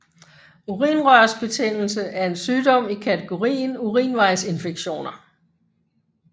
Urinrørsbetændelse er en sygdom i kategorien urinvejsinfektioner